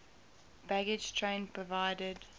baggage train provided